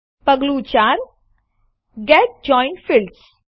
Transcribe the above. પગલું ૪Get joined fields